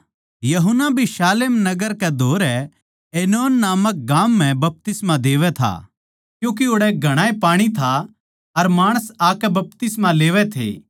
यूहन्ना भी शालेम नगर कै धोरै ऐनोन नामक गाम म्ह बपतिस्मा देवै था क्यूँके ओड़ै घणाए पाणी था अर माणस आकै बपतिस्मा लेवै थे